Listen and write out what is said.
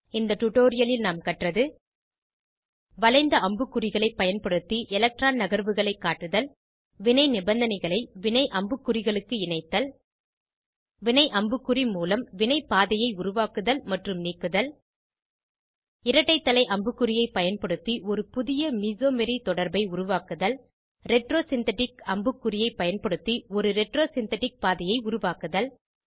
இந்த டுடோரியலில் நாம் கற்றது வளைந்த அம்புக்குறிகளை பயன்படுத்தி எலக்ட்ரான் நகர்வுகளை காட்டுதல் வினை நிபந்தனைகளை வினை அம்புக்குறிகளுக்கு இணைத்தல் வினை அம்புக்குறி மூலம் வினைப் பாதையை உருவாக்குதல் மற்றும நீக்குதல் இரட்டை தலை அம்புக்குறியை பயன்படுத்தி ஒரு புதிய மெசோமரி தொடர்பை உருவாக்குதல் retro சிந்தெடிக் அம்புக்குறியை பயன்படுத்தி ஒரு retro சிந்தெடிக் பாதையை உருவாக்குதல்